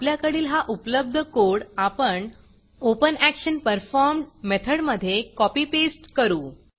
आपल्याकडील हा उपलब्ध कोड आपण OpenActionPerformed मेथडमधे कॉपी पेस्ट करू